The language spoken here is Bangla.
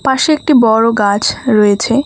পাশে একটি বড় গাছ রয়েছে।